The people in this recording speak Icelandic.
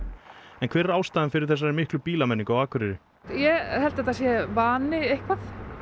en hver er ástæðan fyrir þessari miklu bílamenningu á Akureyri ég held að þetta sé vani eitthvað